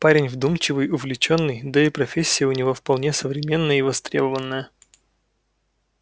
парень вдумчивый увлечённый да и профессия у него вполне современная и востребованная